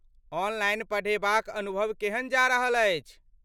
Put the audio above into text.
Online पढ़ेबाक अनुभव केहन जा रहल अछि?